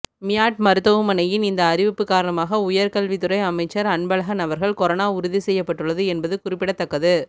மியாட் மருத்துவமனையின் இந்த அறிவிப்பு காரணமாக உயர் கல்வித்துறை அமைச்சர் அன்பழகன் அவர்கள் கொரோனா உறுதி செய்யப்பட்டுள்ளது என்பது குறிப்பிடத்தக்கது